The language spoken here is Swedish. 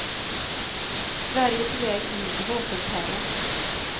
Sverige är på väg in i vapenterrorn.